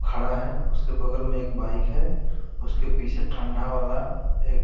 खड़ा है उसके बगल में एक बाइक है उसके पीछे ठंडा वाला एक--